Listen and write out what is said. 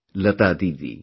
Lata Didi